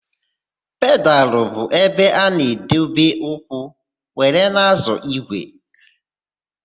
Pedalụ bụ ebe a na-edobe ụkwụ were na-ázọ̀ ígwè.